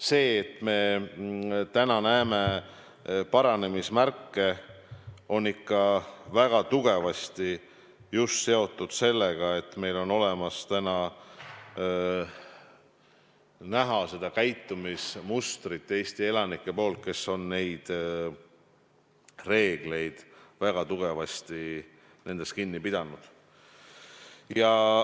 See, et me täna näeme paranemise märke, on ikka väga tugevasti seotud just sellega, et meil on näha sellist Eesti elanike käitumismustrit, et nad on nendest reeglitest väga tugevasti kinni pidanud.